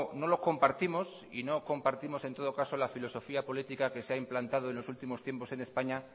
no lo compartimos y nos compartimos en todo caso la filosofía política que se ha implantado en los últimos tiempos en españa